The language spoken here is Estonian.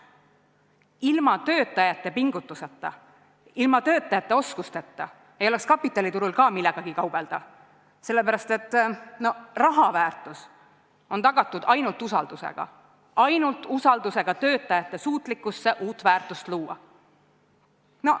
Ilma töötajate pingutuseta, ilma töötajate oskusteta ei oleks kapitaliturul ka millegagi kaubelda, sellepärast et raha väärtus on tagatud ainult usaldusega, ainult usaldusega töötajate suutlikkuse vastu uut väärtust luua.